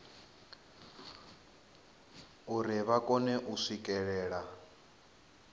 uri vha kone u swikelela